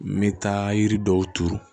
N bɛ taa yiri dɔw turu